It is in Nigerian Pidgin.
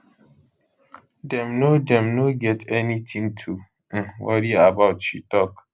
dem no dem no get anytin to um worry about she tok